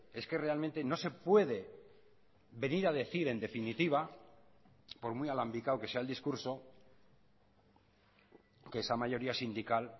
es que realmente no se puede venir a decir en definitiva por muy alambicado que sea el discurso que esa mayoría sindical